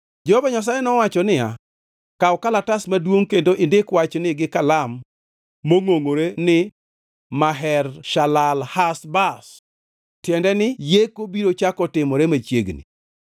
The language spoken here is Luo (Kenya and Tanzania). Jehova Nyasaye nowachone niya, “Kaw kalatas maduongʼ kendo indik wachni gi kalam mongʼongʼore ni Maher-Shalal-Hash-Baz, tiende ni yeko biro chako timore machiegni.”